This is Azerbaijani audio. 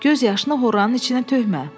Göz yaşını horanın içinə tökmə.